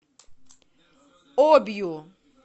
обью